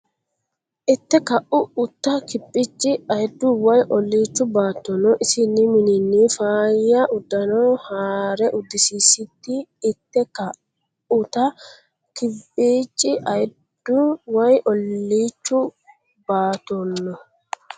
Itte ka uta Kimbici ayiddu woy olliichu baattono isinni mininni faayya uddano haa re uddisiisisi Itte ka uta Kimbici ayiddu woy olliichu baattono.